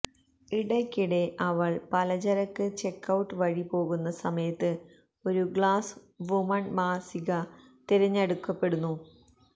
ഇടയ്ക്കിടെ അവൾ പലചരക്ക് ചെക്കൌട്ട് വഴി പോകുന്ന സമയത്ത് ഒരു ഗ്ലാസ് വുമൺ മാസിക തിരഞ്ഞെടുക്കപ്പെടുന്നു